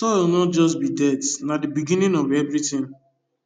soil no just be dirt na the beginning of everything